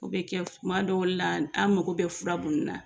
O bɛ kɛ tuma dɔw la an mago bɛ fura munnu na.